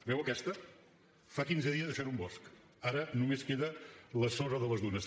veu aquesta fa quinze dies això era un bosc ara només queda la sorra de les dunes